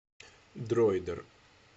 дроидер